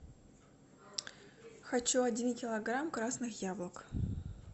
хочу один килограмм красных яблок